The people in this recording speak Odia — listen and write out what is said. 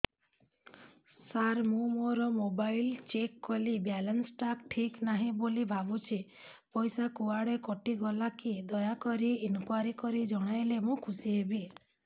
ସାର ମୁଁ ମୋର ମୋବାଇଲ ଚେକ କଲି ବାଲାନ୍ସ ଟା ଠିକ ନାହିଁ ବୋଲି ଭାବୁଛି ପଇସା କୁଆଡେ କଟି ଗଲା କି ଦୟାକରି ଇନକ୍ୱାରି କରି ଜଣାଇଲେ ମୁଁ ଖୁସି ହେବି